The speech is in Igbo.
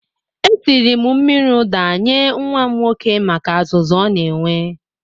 Esiri m mmiri ụda nye nwa m nwoke maka azụzụ o na-enwe